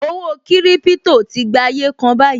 Owó kiripito tí gba ayé kan báyìí